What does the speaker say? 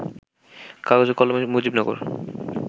কাগজে কলমে 'মুজিবনগর